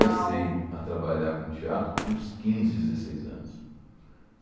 a trabalhar com teatro com uns quinze, dezesseis anos.